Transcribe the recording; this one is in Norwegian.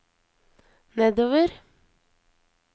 nedover